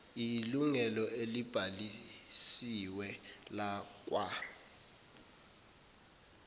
iyilunga elibhalisiwe lakwa